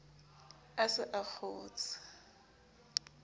a se a a kgotshe